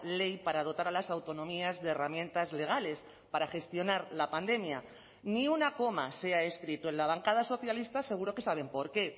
ley para dotar a las autonomías de herramientas legales para gestionar la pandemia ni una coma se ha escrito en la bancada socialista seguro que saben por qué